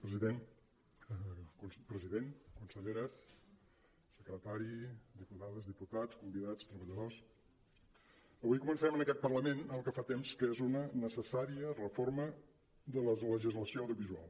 president conselleres secretari diputades diputats convi·dats treballadors avui comencem en aquest parlament el que fa temps que és una necessària reforma de la legislació audiovisual